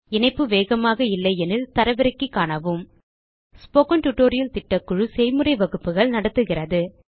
இணைப்பு வேகமாக இல்லையெனில் தரவிறக்கி காணவும் ஸ்போக்கன் டியூட்டோரியல் திட்டக்குழு செய்முறை வகுப்புகள் நடத்துகிறது